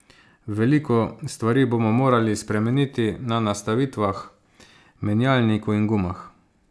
Veliko stvari bomo morali spremeniti na nastavitvah, menjalniku in gumah.